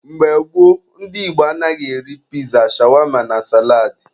Mgbe gboo, ndị Igbo anaghị eri piza, shawama na salad